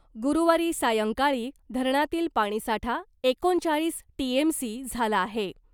गुरूवारी सायंकाळी धरणातील पाणीसाठा एकोणचाळीस टीएमसी झाला आहे .